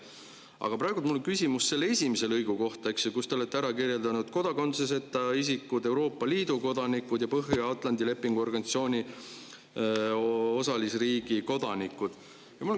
Aga praegu on mul küsimus kohta, kus te olete kodakondsuseta isikud, Euroopa Liidu kodanikud ja Põhja-Atlandi Lepingu Organisatsiooni osalisriigi kodanikud.